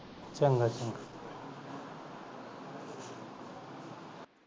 ਚਗਾ ਚਗਾ